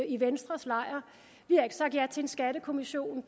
i venstres lejr vi har ikke sagt ja til en skattekommission